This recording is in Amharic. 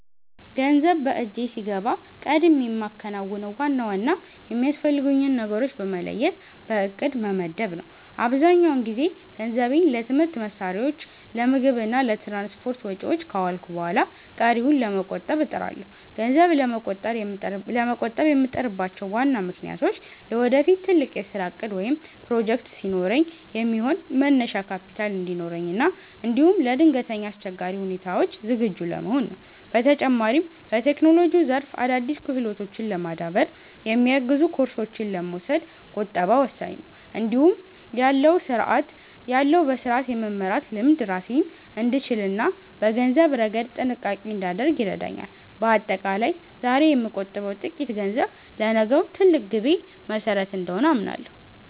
ገንዘብ በእጄ ሲገባ ቀድሜ የማከናውነው ዋና ዋና የሚያስፈልጉኝን ነገሮች በመለየት በዕቅድ መመደብ ነው። አብዛኛውን ጊዜ ገንዘቤን ለትምህርት መሣሪያዎች፣ ለምግብ እና ለትራንስፖርት ወጪዎች ካዋልኩ በኋላ ቀሪውን ለመቆጠብ እጥራለሁ። ገንዘብ ለመቆጠብ የምጥርባቸው ዋና ምክንያቶች ለወደፊት ትልቅ የሥራ ዕቅድ ወይም ፕሮጀክት ሲኖረኝ የሚሆን መነሻ ካፒታል እንዲኖረኝ እና እንዲሁም ለድንገተኛ አስቸጋሪ ሁኔታዎች ዝግጁ ለመሆን ነው። በተጨማሪም፣ በቴክኖሎጂው ዘርፍ አዳዲስ ክህሎቶችን ለማዳበር የሚያግዙ ኮርሶችን ለመውሰድ ቁጠባ ወሳኝ ነው። እንዲህ ያለው በሥርዓት የመመራት ልምድ ራሴን እንድችልና በገንዘብ ረገድ ጥንቃቄ እንዳደርግ ይረዳኛል። በአጠቃላይ፣ ዛሬ የምቆጥበው ጥቂት ገንዘብ ለነገው ትልቅ ግቤ መሠረት እንደሆነ አምናለሁ።